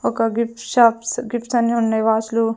ఒక gift shops gifts అన్ని ఉన్నాయ్ వాష్ లు .